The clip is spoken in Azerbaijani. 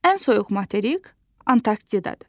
Ən soyuq materik Antarktidaddır.